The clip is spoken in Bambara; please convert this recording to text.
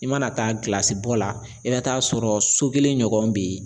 I mana taa gilasi bɔ la i bɛ taa sɔrɔ so kelen ɲɔgɔn bɛ yen